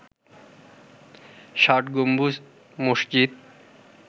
ষাট গম্বুজ মসজিদ